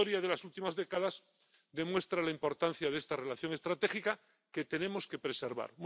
La historia de las últimas décadas demuestra la importancia de esta relación estratégica que tenemos que preservar.